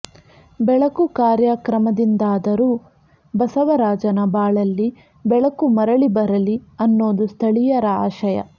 ಬೆಳಕು ಕಾರ್ಯಕ್ರಮದಿಂದಾದರು ಬಸವರಾಜನ ಬಾಳಲ್ಲಿ ಬೆಳಕು ಮರಳಿ ಬರಲಿ ಅನ್ನೋದು ಸ್ಥಳೀಯರ ಆಶಯ